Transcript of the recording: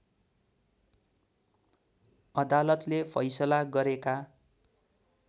अदालतले फैसला गरेका